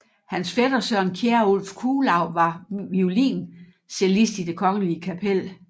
Hans fætter Søren Kjerulf Kuhlau var violoncellist i Det Kongelige Kapel